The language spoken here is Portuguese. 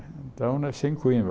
Então, nasci em Coimbra.